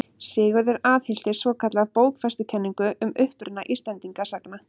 Sigurður aðhylltist svokallaða bókfestukenningu um uppruna Íslendinga sagna.